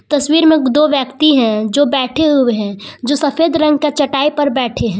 तस्वीर में दो व्यक्ति हैं जो बैठे हुए हैं जो सफेद रंग का चटाई पर बैठे हैं।